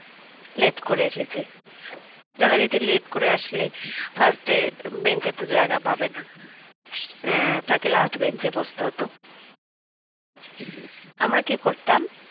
late করে এসেছে যারা already late করে আসলে first এর bench তো জায়গা পাবে না সে তাকে last bench বসতে হতো আমরা কি করতাম